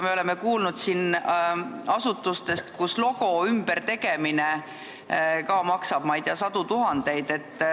Me oleme kuulnud asutustest, kus ka logo ümbertegemine maksab, ma ei tea, sadu tuhandeid.